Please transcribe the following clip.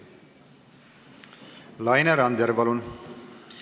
Laine Randjärv, palun!